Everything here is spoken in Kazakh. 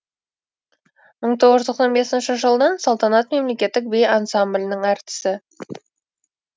мың тоғыз жүз тоқсан бесінші жылдан салтанат мемлекеттік би ансамблінің әртісі